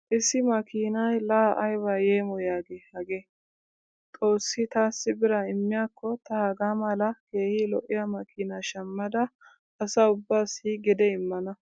Issi makkiinay laa ayba yeemoyiyaagee hagee! Xoossi taassi biraa immiyaakko ta hagaa mala keehi lo'iya makkiinaa shammadda asa ubaassi gede immana.